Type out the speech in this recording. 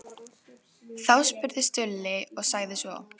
Þá spurði Stulli og sagði svo